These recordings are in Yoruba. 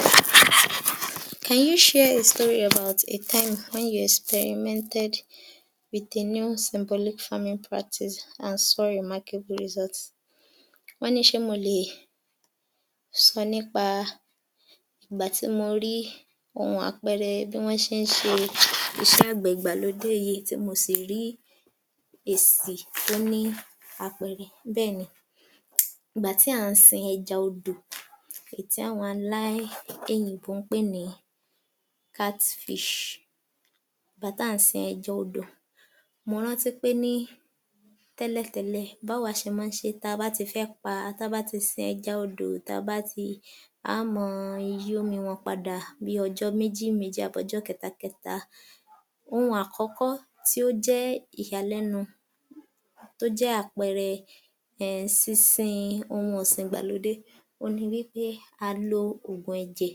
Yor_f_903_AG00603 Can you share a story about a time when you experimented with a new symbolic farming practice and saw your market result Wọ́n ni pé ṣe mọ lè sọ nípa ìgbà tí mo rí ohun àpẹẹrẹ bí wọ́n ṣe ń ṣe iṣẹ́ àgbẹ̀ ìgbàlódé yìí, tí mo sì rí èsè tó ní àpẹẹrẹ. Bẹ́ẹ̀ni, ìgbà tí a ní sìn ẹja odò èyí tí àwọn ará òyìnbó pè ní Catfish, nígbà tí a ní sìn ẹja odò, mo rántí pé ní tẹ́lẹ̀tẹ́lẹ̀ tí a bá ti fẹ́ pá, tá bá ti sin ẹja odò, tá bá ti fé, a á máa yí omi wọn padà bí ọjọ́ méjì méjì tàbí ní ọjọ́ kẹta kẹta. Ohun àkókò tí ó jẹ́ ìyàlẹ́nu, tó jẹ́ àpẹẹrẹ sísìn ohun ọ̀sìn ìgbàlódé ohun ni wí pé a lo Ògùn ẹ̀jẹ̀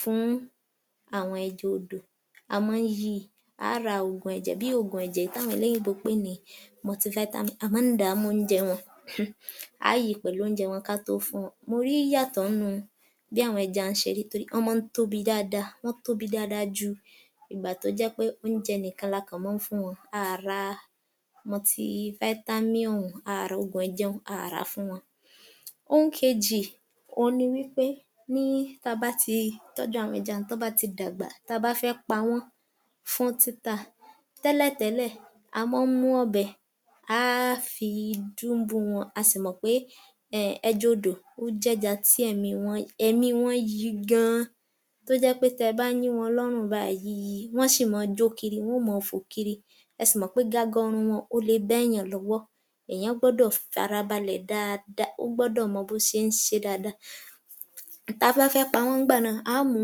fún àwọn ẹja odò, a máa yi, a á ra Ògùn ẹ̀jẹ̀ tí àwọn olòyìnbó ń pè ní Multivitamins, a máa dà á mọ́ oúnjẹ wọn, a á yí pẹ̀lú oúnjẹ wọn ká tó fún wọn. Mo rí ìyàtọ̀ nínú bí àwọn ẹja yẹn ṣé máa ń rí torí wọn máa ń tóbi dáadáa, wọn tóbi dáadáa ju ìgbà tó jẹ́ pé oúnjẹ ǹkan là ń fún wọn. A ra Multivitamins yẹn, Ogun ẹ̀jẹ̀ yẹn, a á rà fún wọn. Ohun kejì, ohun ni wí pé ti a bá ti tọ́jú àwọn ẹja òun, tó bá ti dàgbà, tá a bá fẹ́ pa wọn fún títa, tẹ́lẹ̀ tẹ́lẹ̀, a máa ń mú ọ̀bẹ, a fi dúnbú wọn, a sì mọ pé ẹja odò ó jé ẹja tí èmi wọn yí gan-an tó jẹ́ pé tẹ bá yín wọn lọ́rùn báyìí,, wọn si máa jó Kírì, wọn óò máa fò kiri, ẹ sì mọ̀ pé gaga ọrùn le bẹ́ èèyàn lọ́wọ́, èèyàn gbọ́dọ̀ fara balẹ̀ dáadáa, ó gbọ́dọ̀ mọ bó ṣe ń ṣe é dáadáa. Ta bá fẹ́ pa wọ́n ní ìgbà náà, a mú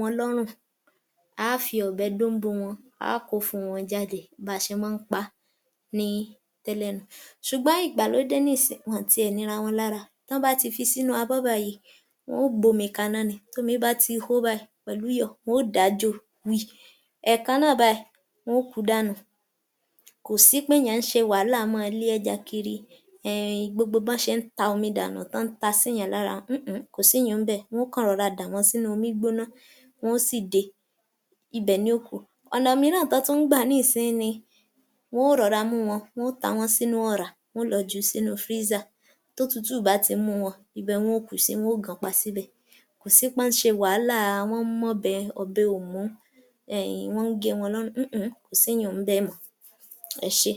wọn lọ́rùn, a fi ọ̀bẹ dúnbú wọn, a kó ìfun wọn jáde, bá ṣe máa ń pá ni tẹ́lẹ̀ nun-un. Ṣùgbọ́n ìgbàlódé ni sí yí, wọn ò tí ẹ nira wọn lára, tó bá ti fi sínú abọ́ báyìí, wọn ò gbómi kaná ni, tómi bá ti hó báyìí, pẹ̀lú iyọ̀ báyìí, wọn ò dà á jó wìi, ẹ kán náà báyìí ni wọn ó kú dànù, kò sì pé èèyàn ń ṣe wàhálà máa lé ẹja kiri, gbogbo bo se n ta omi dànù, tó ń tà sèèyàn lára (……) kò sì iyùn-un ní bẹ̀, wọn ó kò rọra dà wọ́n sínú omi gbígbóná, wọn ó sì de, ibè ni ó kú. Ọ̀nà mìíràn tó tún gbà nísinsìnyí ní wọn ò rọra mú wọn, wọn ò ta wọn sínú ọ̀rá, wọn ò lọ jù ú sínú Freezer, totútú bá ti mú wọn, ibè wọn ò kú sí, wọn ò gan pá sì bẹ. Kò sii pé wọn ṣe wàhálà, wọn mọ́be, ọbẹ̀ ó mú, wọn ń gé wọn lọ́run, kò sì ìhun-un ní bẹ mọ. Ẹ ṣé.